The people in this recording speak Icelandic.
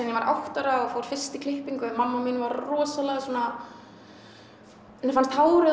ég var átta ára og fór fyrst í klippingu mamma mín var rosalega svona henni fannst hárið